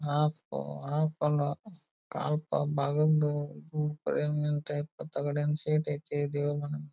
Half half ಅಲ್ಲಾ ಕರಿ ಮೀನ್ ಟೈಪ್ ತಗಡಿನ್ ಸಿಟ್ ಆಯ್ತಿ ದೇವ್ರ ಮನೆ.